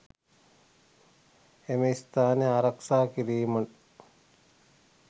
එම ස්ථාන ආරක්ෂා කිරීම